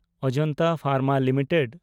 Ajanta pharma limited